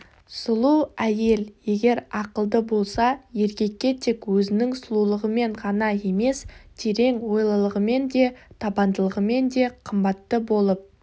сұлу әйел егер ақылды болса еркекке тек өзінің сұлулығымен ғана емес терең ойлылығымен де табандылығымен де қымбатты болып